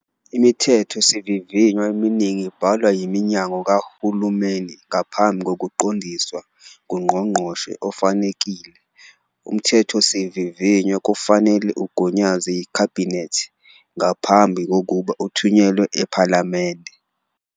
Imithethosivivinywa eminingi ibhalwa yiminyango kahulumeni ngaphansi kokuqondiswa nguNgqongqoshe ofanelekile. UMthethosivivinywa kufanele ugunyazwe yiKhabhinethi ngaphambi kokuba uthunyelwe ePhalamende.